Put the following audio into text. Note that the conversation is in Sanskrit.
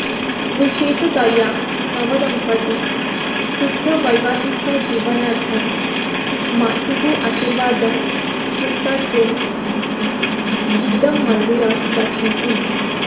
विशेषतया नवदम्पती सुखवैवाहिकजीवनार्थं मातुः आशीर्वादं स्वीकर्तुम् इदं मन्दिरं गच्छन्ति